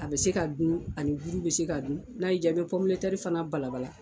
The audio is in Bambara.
A bɛ se ka dun, ani buru bɛ se ka dun, n'a ye ja i bɛ fana balabala.